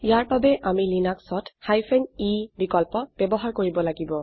ইয়াৰ বাবে আমি লিনাক্সত e অপশ্যন বিকল্প ব্যবহাৰ কৰিব লাগিব